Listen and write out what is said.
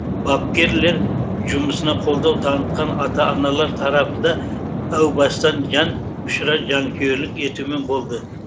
бапкерлер жұмысына қолдау танытқан ата аналар тарапы да әу бастан жан ұшыра жанкүйерлік етумен болды